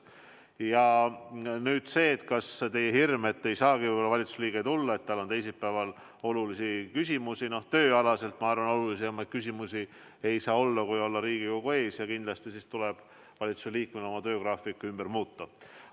Ja nüüd see teie hirm, et ei saagi võib-olla valitsuse liige siia tulla, et tal on teisipäeval olulisi küsimusi – tööalaselt, ma arvan, olulisemaid küsimusi ei saa olla, kui olla Riigikogu ees ja kindlasti siis tuleb valitsuse liikmel oma töögraafik ümber teha.